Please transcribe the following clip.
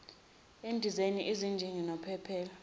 endizeni izinjini nophephela